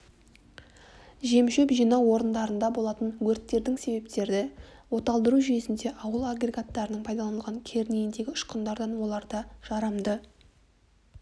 жемшөп жинау орындарында болатын өрттердің себептері оталдыру жүйесінде ауыл агрегаттарының пайдалнылған кернейіндегі ұшқындардан оларда жарамды